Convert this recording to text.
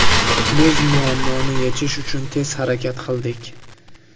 Biz muammoni yechish uchun tez harakat qildik.